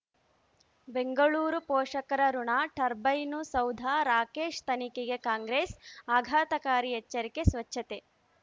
ಬೆಂಗಳೂರು ಪೋಷಕರಋಣ ಟರ್ಬೈನು ಸೌಧ ರಾಕೇಶ್ ತನಿಖೆಗೆ ಕಾಂಗ್ರೆಸ್ ಆಘಾತಕಾರಿ ಎಚ್ಚರಿಕೆ ಸ್ವಚ್ಛತೆ